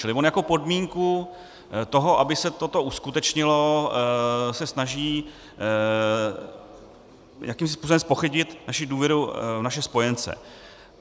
Čili on jako podmínku toho, aby se toto uskutečnilo, se snaží jakýmsi způsobem zpochybnit naši důvěru v naše spojence.